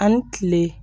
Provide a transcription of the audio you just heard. Ani kile